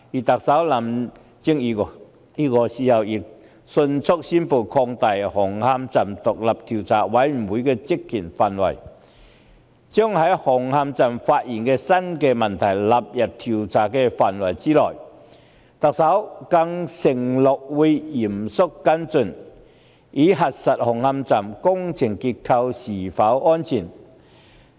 特首林鄭月娥亦迅速宣布擴大紅磡站獨立調查委員會的職權範圍，把在紅磡站發現的新問題納入調查範圍之內。特首更承諾會嚴肅跟進，以核實紅磡站工程結構是否安全。